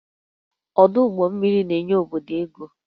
Ọdụ ụgbọ mmiri na-enye obodo ego